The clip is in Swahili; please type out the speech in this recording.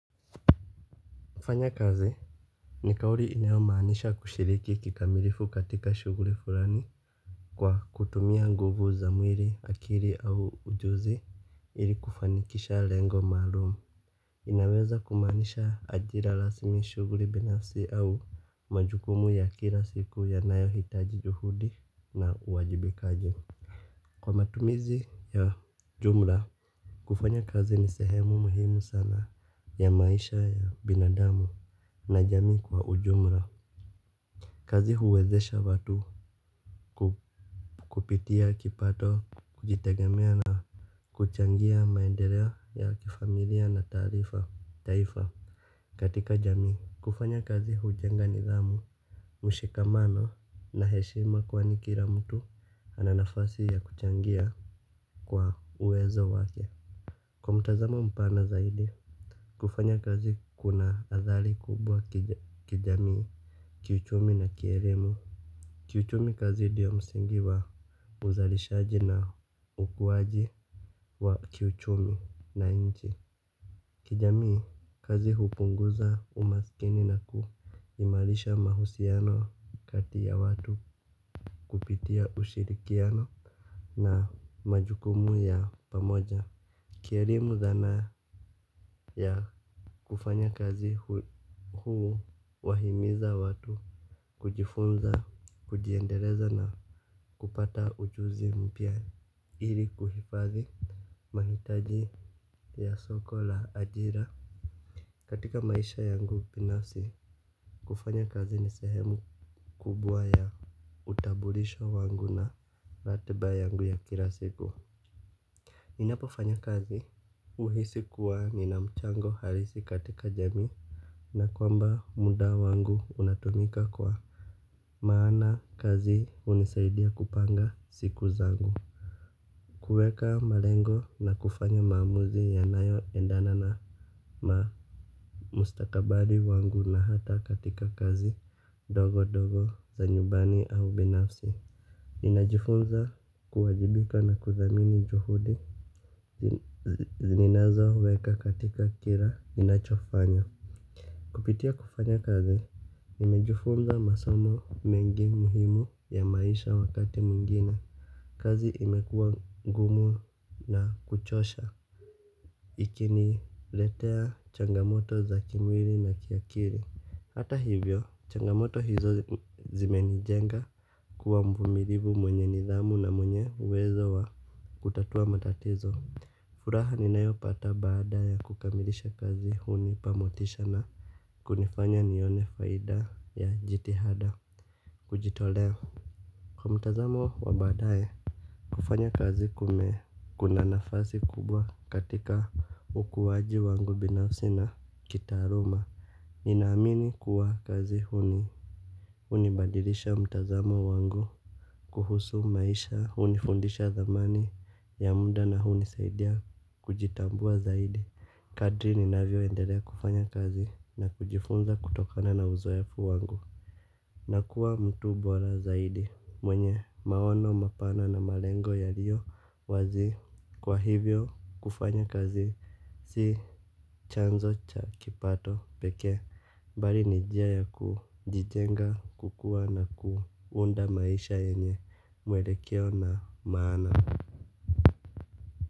Kufanya kazi ni kauli inayomaanisha kushiriki kikamilifu katika shughuli fulani. Kwa kutumia nguvu za mwili, akili au ujuzi ili kufanikisha lengo maalumu. Inaweza kumanisha ajira rasmi, shughuli binafsi au majukumu ya kila siku yanayohitaji juhudi na uwajibikaji. Kwa matumizi ya jumla, kufanya kazi ni sehemu muhimu sana ya maisha ya binadamu. Na jamii kwa ujumla. Kazi huwezesha watu kupitia kipato, kujitegemea na kuchangia maendeleo ya kifamilia na taifa katika jamii. Kufanya kazi hujenga nidhamu, mshikamano na heshima kwani kila mtu ana nafasi ya kuchangia kwa uwezo wake. Kwa mtazamo mpana zaidi, kufanya kazi kuna athari kubwa kijamii. Kiuchumi na kielimu. Kiuchumi kazi ndiyo msingi wa uzalishaji na ukuaji wa kiuchumi na inchi. Kijamii, kazi hupunguza umaskini na kuimarisha mahusiano kati ya watu kupitia ushirikiano na majukumu ya pamoja. Kielimu, zana ya kufanya kazi huwahimiza watu kujifunza, kujiendeleza na kupata ujuzi mpya ili kuhifadhi mahitaji ya soko la ajira. Katika maisha yangu binasi, kufanya kazi ni sehemu kubwa ya utabulisho wangu na ratiba yangu ya kila siku. Ninapofanya kazi, uhisi kuwa nina mchango halisi katika jamii. Na kwamba muda wangu unatumika kwa maana kazi hunisaidia kupanga siku zangu. Kuweka malengo na kufanya maamuzi yanayoendana na mustakabali wangu na hata katika kazi ndogo ndogo za nyumbani au binafsi. Ninajifunza kuwajibika na kuthamini juhudi nininazo weka katika kila ninachofanya. Kupitia kufanya kazi, nimejifunza masomo mengi muhimu ya maisha wakati mwingine. Kazi imekuwa ngumu na kuchosha. Ikiniletea changamoto za kimwili na kiakili. Hata hivyo, changamoto hizo zimenijenga kuwa mvumilivu mwenye nidhamu na mwenye uwezo wa kutatua matatizo. Furaha ninayopata baada ya kukamilisha kazi hunipa motisha na kunifanya nione faida ya jitihada kujitolea. Kwa mtazamo wa baadaye, kufanya kazi kume kuna nafasi kubwa katika ukuwaji wangu binafsi na kitaaluma. Ninaamini kuwa kazi hunibadilisha mtazamo wangu kuhusu maisha, hunifundisha thamani ya muda na hunisaidia kujitambua zaidi. Kadri ninavyo endelea kufanya kazi na kujifunza kutokana na uzoefu wangu. Nakua mtu bora zaidi mwenye maono mapana na malengo yaliyo wazi. Kwa hivyo kufanya kazi si chanzo cha kipato pekee. Bali ni njia ya kujijenga, kukua na kuunda maisha yenye mwelekeo na maana.